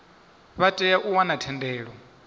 vha tea u wana thendelo